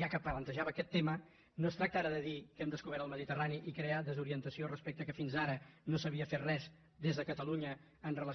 ja que plantejava aquest tema no es tracta ara de dir que hem descobert el mediterrani i crear desorientació respecte que fins ara no s’havia fet res des de catalunya amb relació